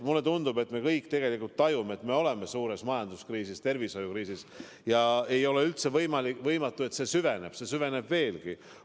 Mulle tundub, et me kõik tajume, et oleme suures majandus- ja tervishoiukriisis, ning ei ole üldse võimatu, et kriis süveneb veelgi.